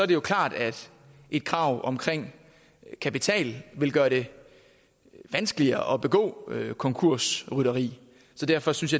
det jo klart at et krav om kapital vil gøre det vanskeligere at begå konkursrytteri så derfor synes